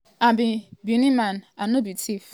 i be benin man man i no be thief di tin i value di most na my name.